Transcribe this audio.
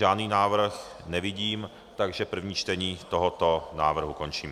Žádný návrh nevidím, takže první čtení tohoto návrhu končím.